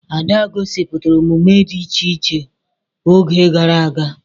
Ada gosipụtara omume dị iche iche oge gara aga.